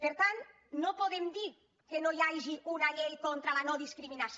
per tant no podem dir que no hi hagi una llei contra la nodiscriminació